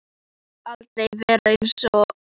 Þú skalt aldrei verða einsog ég.